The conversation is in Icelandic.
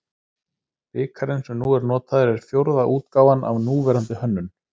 Bikarinn sem nú er notaður er fjórða útgáfan af núverandi hönnun.